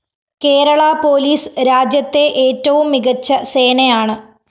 Kerala police രാജ്യത്തെ ഏറ്റവും മികച്ച സേനയാണ്